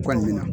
Kɔni na